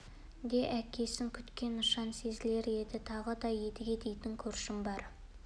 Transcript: де әкесін күткен нышан сезілер еді тағы да едіге дейтін көршім бар